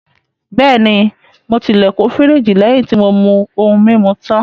Bẹ́ẹ̀ni, mo ti ilẹ̀kùn firiji lẹ́yìn tí mo mú ohun-mímu tán.